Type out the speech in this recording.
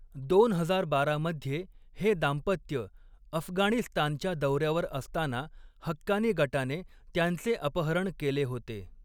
दोन हजार बारा मध्ये हे दाम्पत्य अफगाणिस्तानच्या दौऱ्यावर असताना हक्कानी गटाने त्यांचे अपहरण केले होते.